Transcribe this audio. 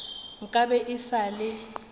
nka be e sa le